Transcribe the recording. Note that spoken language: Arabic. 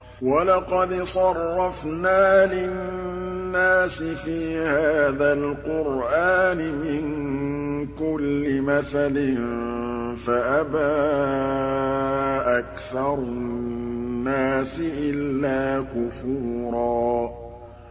وَلَقَدْ صَرَّفْنَا لِلنَّاسِ فِي هَٰذَا الْقُرْآنِ مِن كُلِّ مَثَلٍ فَأَبَىٰ أَكْثَرُ النَّاسِ إِلَّا كُفُورًا